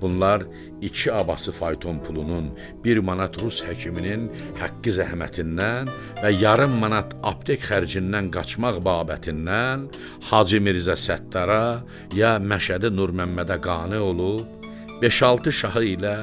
Bunlar iki abası fayton pulunun, bir manat rus həkiminin haqqı zəhmətindən və yarım manat aptek xərcindən qaçmaq babətindən Hacı Mirzə Səttara ya Məşədi Nurməmmədə qane olub, beş-altı şahı ilə